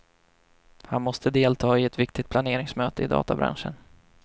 Han måste delta i ett viktigt planeringsmöte i databranschen.